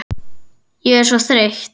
Ég er svo þreytt